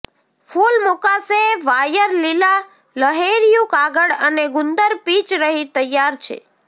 ફૂલ મુકાશે વાયર લીલા લહેરિયું કાગળ અને ગુંદર પિચ રહી તૈયાર છે